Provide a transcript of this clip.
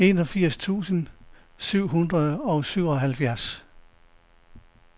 enogfirs tusind syv hundrede og syvoghalvfjerds